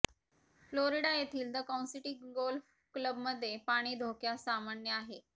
Florida येथील the Concity golf क्लबमध्ये पाणी धोक्या सामान्य आहे